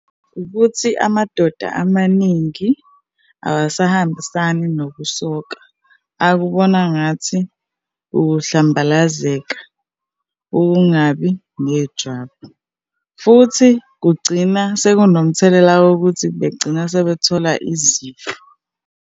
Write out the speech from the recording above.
Ukuthi amadoda amaningi awasahambisani nokusoka, akubona ngathi ukuhlambalazeka ukungabi nejwabu, futhi kugcina sekunomthelela wokuthi begcina sebethola izifo.